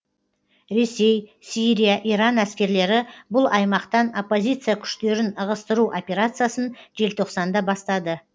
ресей сирия иран әскерлері бұл аймақтан оппозиция күштерін ығыстыру операциясын желтоқсанда бастады